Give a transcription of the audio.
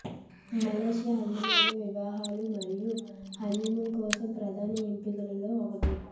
Malaysia అందమైన వివాహాలు మరియు హనీమూన్ కోసం ప్రధాన ఎంపికలలో ఒకటి